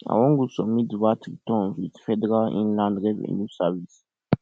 i wan go submit vat returns with federal inland revenue service